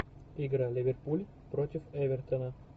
игра ливерпуль против эвертона